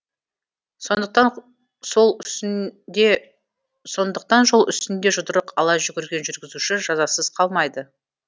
сондықтан жол үстінде жұдырық ала жүгірген жүргізуші жазасыз қалмайды